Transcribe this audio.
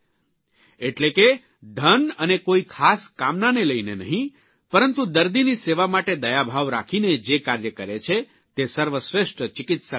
એટલે કે ધન અને કોઇ ખાસ કામનાને લઇને નહિં પરંતુ દર્દીની સેવા માટે દયાભાવ રાખીને જે કાર્ય કરે છે તે સર્વશ્રેષ્ઠ ચિકિત્સક હોય છે